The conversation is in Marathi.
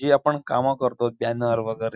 जे आपण काम करतो त्या --